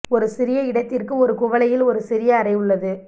ஒரு சிறிய இடத்திற்கு ஒரு குவளையில் ஒரு சிறிய அறை உள்ளது